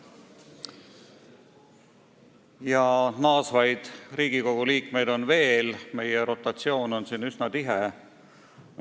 Ja naasvaid Riigikogu liikmeid on veel, meie rotatsioon on üsna tihe.